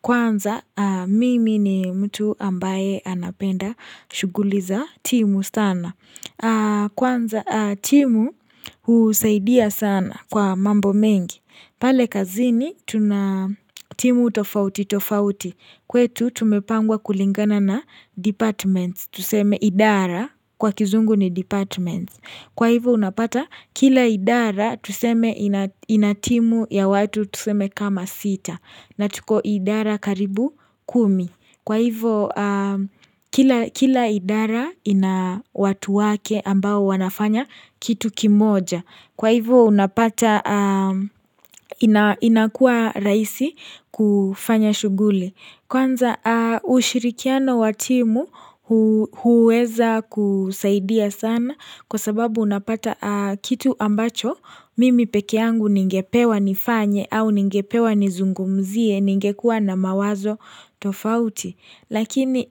Kwanza mimi ni mtu ambaye anapenda shuguliza timu sana Kwanza timu husaidia sana kwa mambo mengi pale kazini timu utofauti tofauti kwetu tumepangwa kulingana na departments Tuseme idara kwa kizungu ni departments Kwa hivu unapata kila idara tuseme inatimu ya watu tuseme kama sita na tuko idara karibu kumi. Kwa hivo kila idara ina watu wake ambao wanafanya kitu kimoja. Kwa hivo inakua raisi kufanya shugule. Kwanza ushirikiano watimu huweza kusaidia sana kwa sababu unapata kitu ambacho mimi pekiangu ningepewa nifanye au ningepewa nizungumzie ningekuwa na mawazo tofauti. Lakini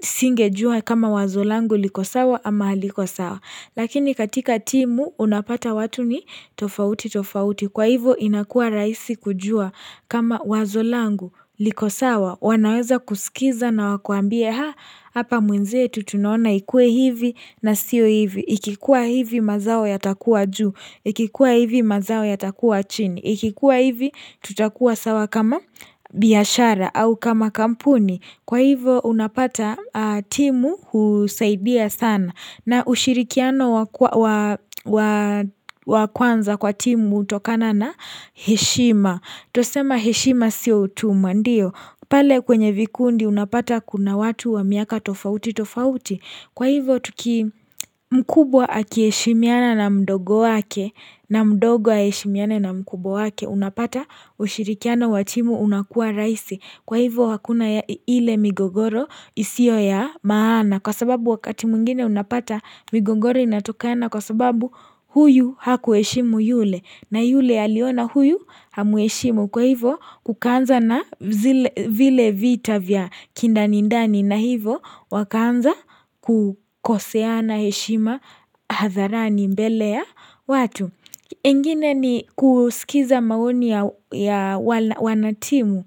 singe jua kama wazolangu liko sawa ama liko sawa. Lakini katika timu unapata watu ni tofauti tofauti. Kwa hivo inakua raisi kujua kama wazolangu liko sawa. Wanaweza kusikiza na wakuambie haa. Hapa mwenzetu tunaona ikue hivi na sio hivi. Ikikuwa hivi mazao yatakuwa juu. Ikikuwa hivi mazao yatakuwa chini. Ikikuwa hivi tutakuwa sawa kama biyashara au kama kampuni. Kwa hivyo unapata timu husaidia sana na ushirikiano wa kwanza kwa timu utokana na heshima. Tosema heshima siotuma ndiyo. Pale kwenye vikundi unapata kuna watu wa miaka tofauti tofauti. Kwa hivyo mkubwa akiheshimiana na mdogo wake na mdogo aheshimiana na mkubo wake unapata ushirikiano wa timu unakua raisi. Kwa hivyo wakuna ile migogoro isio ya maana kwa sababu wakati mungine unapata migogoro inatukana kwa sababu huyu hakuweshimu yule na yule aliona huyu hamuweshimu kwa hivyo kukanza na vile vita vya kindani ndani na hivyo wakaanza kukosea na heshima hadharani mbele ya watu. Engine ni kusikiza maoni ya wanatimu.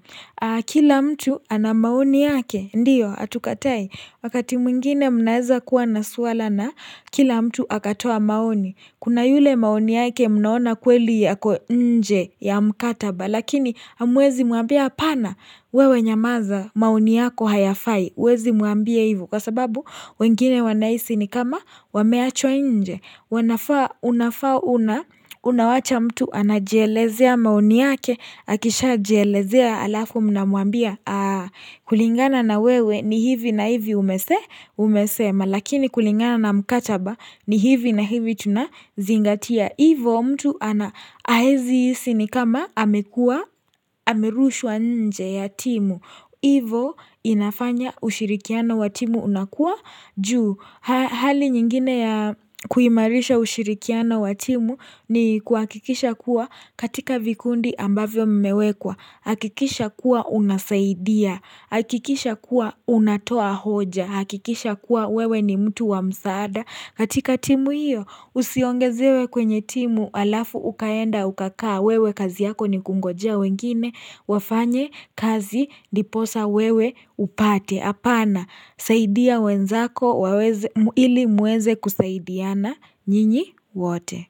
Kila mtu anamaoni yake, ndiyo, atukatai. Wakati mwingine mnaeza kuwa nasuala na kila mtu akatoa maoni. Kuna yule maoni yake mnaona kweli yako nje ya mkataba. Lakini amwezi muambia apana wewe nyamaza mauni yako hayafai wezi muambia hivu kwa sababu wengine wanaisi ni kama wameachwa nje wanafaa unafaa una unawacha mtu anajelezea mauni yake akisha jelezea alafu mnamuambia kulingana na wewe ni hivi na hivi umese umesema lakini kulingana na mkachaba ni hivi na hivi tunazingatia Ivo mtu ana ahezi sinikama amekua amirushwa nje ya timu. Ivo inafanya ushirikiana wa timu unakua juu. Hali nyingine ya kuimarisha ushirikiana wa timu ni kuakikisha kuwa katika vikundi ambavyo mmewekwa. Hakikisha kuwa unasaidia, hakikisha kuwa unatoa hoja, hakikisha kuwa wewe ni mtu wa msaada. Katika timu hiyo usiongezewe kwenye timu alafu ukaenda ukakaa wewe kazi yako ni kungoja wengine wafanye kazi diposa wewe upate. Apana, saidia wenzako ili muweze kusaidiana njini wote.